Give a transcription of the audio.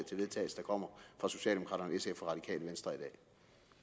vedtagelse der kommer fra socialdemokraterne sf og radikale venstre